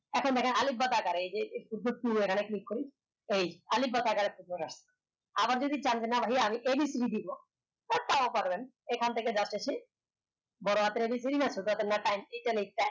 এখন দেখেন আলিফ বা তা আকারে click করি আলিফ বা তা আকারে আবার যদি চান না ভাইয়া আমি ABC দিবো তা তাও পারবেন এখান জাতেছি বড় হাতের হাতের ABC না ছোট হাতের না